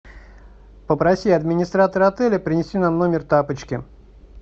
попроси администратора отеля принести нам в номер тапочки